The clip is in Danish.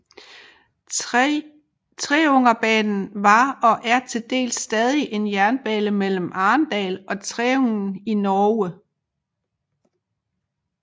Treungenbanen var og er til dels stadig en jernbane mellem Arendal og Treungen i Norge